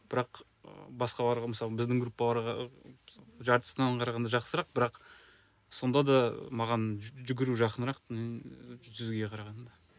бірақ ыыы басқаларға мысалы біздің группаларға жартысынан қарағанда жақсырақ бірақ сонда да маған жүгіру жақынырақ жүзуге қарағанда